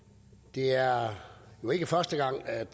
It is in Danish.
det er jo ikke første gang at